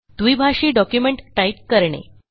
द्विभाषी document type करणे